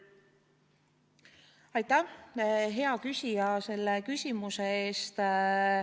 Aitäh, hea küsija, selle küsimuse eest!